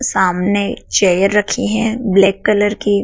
सामने चेयर रखी है ब्लैक कलर की।